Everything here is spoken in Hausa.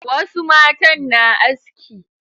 Wasu matan na aski.